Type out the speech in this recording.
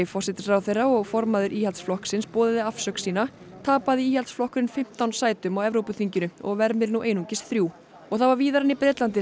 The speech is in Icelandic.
forsætisráðherra og formaður Íhaldsflokksins boðaði afsögn sína tapaði Íhaldsflokkurinn fimmtán sætum á Evrópuþinginu og vermir nú einungis þrjú og það var víðar en í Bretlandi